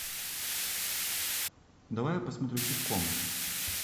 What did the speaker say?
давай я посмотрю ситком